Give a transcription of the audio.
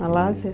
Malásia?